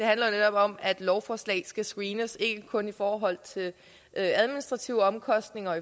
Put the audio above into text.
handler netop om at lovforslaget skal screenes ikke kun i forhold til administrative omkostninger